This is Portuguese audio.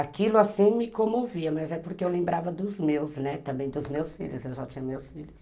Aquilo assim me comovia, mas é porque eu lembrava dos meus, né, também dos meus filhos, eu já tinha meus filhos.